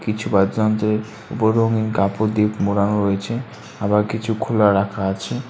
কিছু বাদ্য যন্ত্রের ওপর রঙিন কাপড় দিয়ে মোড়ানো রয়েছে আবার কিছু খোলা রাখা আছে।